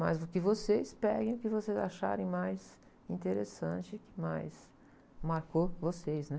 Mas o que vocês, peguem, o que vocês acharem mais interessante, e que mais marcou vocês, né?